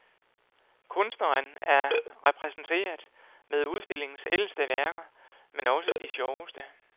Kunstneren er repræsenteret med udstillingens ældste værker, men også de sjoveste.